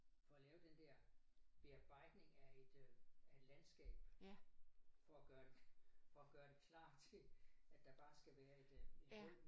For at lave den der bearbejdning af et øh af et landskab for at gøre for at gøre det klar til at der bare skal være et øh et hul